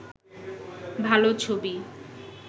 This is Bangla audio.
ভাল ছবি